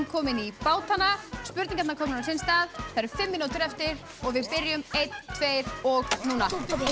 komin í bátana spurningarnar komnar á sinn stað það eru fimm mínútur eftir og við byrjum einn tveir og núna